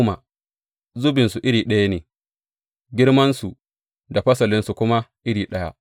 Duk an yi zubinsu iri ɗaya ne, girmansu da fasalinsu kuma iri ɗaya.